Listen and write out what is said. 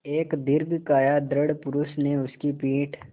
एक दीर्घकाय दृढ़ पुरूष ने उसकी पीठ